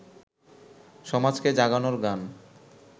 সমাজকে জাগানোর গান